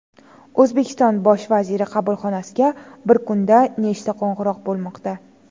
O‘zbekiston bosh vaziri qabulxonasiga bir kunda nechta qo‘ng‘iroq bo‘lmoqda?